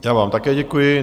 Já vám také děkuji.